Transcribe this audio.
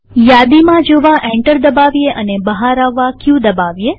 યાદીમાં જોવા એન્ટર દબાવીએ અને બહાર આવવા ક દબાવીએ